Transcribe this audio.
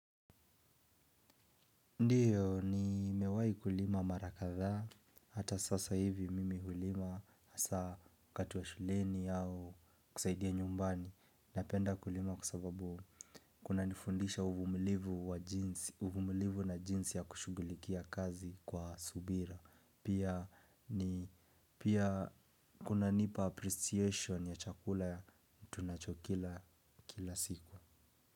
Ndiyo nimewai kulima mara kadhaa, hata sasa hivi mimi hulima hasa wakati wa shuleni au kusaidia nyumbani. Napenda kulima kwa sababu kuna nifundisha uvumilivu wa jinsi, uvumulivu na jinsi ya kushugulikia kazi kwa subra. Pia kunanipa appreciation ya chakula tunachokila kila siku.